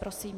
Prosím.